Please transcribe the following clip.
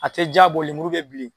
A te ja bɔ lemuru be bilen